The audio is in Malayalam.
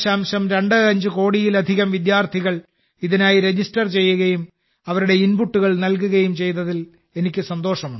25 കോടിയിലധികം വിദ്യാർത്ഥികൾ ഇതിനായി രജിസ്റ്റർ ചെയ്യുകയും അവരുടെ ഇൻപുട്ടുകൾ നൽകുകയും ചെയ്തതിൽ എനിക്ക് സന്തോഷമുണ്ട്